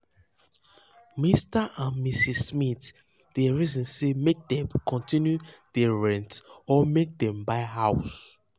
um mr and mrs um smith dey reason say make dem continue dey rent or make um dem buy house.